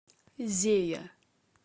зея